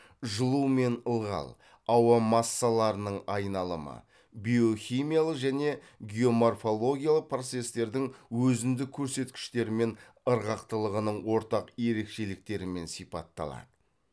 жылу мен ылғал ауа массаларының айналымы биохимиялық және геоморфологиялық процестердің өзіндік көрсеткіштері мен ырғақтылығының ортақ ерекшеліктерімен сипатталады